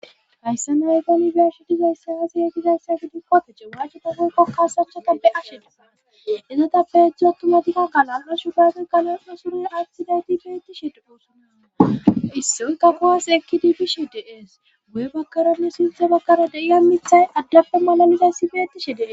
Hayssa nayga nbiashidizayssa aazi ye gizayssa gidikkotece waachepa gukokaasachotappe asheeae ezotappehechcho ttumatika galanra shudaagey galasna sury attidayti betishe poossana issoyka guwas ekkidi bishi dees guye bakkaranne sinthe bakkara deiya mithay addappo malalizayssi betishe dee.